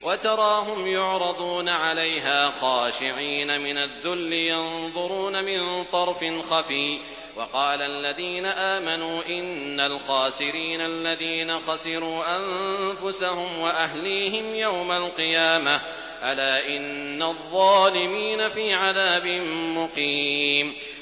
وَتَرَاهُمْ يُعْرَضُونَ عَلَيْهَا خَاشِعِينَ مِنَ الذُّلِّ يَنظُرُونَ مِن طَرْفٍ خَفِيٍّ ۗ وَقَالَ الَّذِينَ آمَنُوا إِنَّ الْخَاسِرِينَ الَّذِينَ خَسِرُوا أَنفُسَهُمْ وَأَهْلِيهِمْ يَوْمَ الْقِيَامَةِ ۗ أَلَا إِنَّ الظَّالِمِينَ فِي عَذَابٍ مُّقِيمٍ